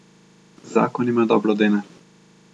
Zakon jima dobro dene.